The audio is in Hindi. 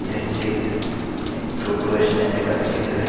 यह चित्र टोटो स्टैंड का चित्र है |